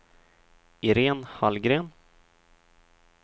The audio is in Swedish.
Iréne Hallgren